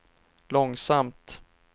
långsamt